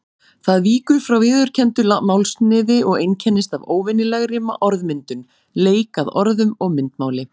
Það víkur frá viðurkenndu málsniði og einkennist af óvenjulegri orðmyndun, leik að orðum og myndmáli.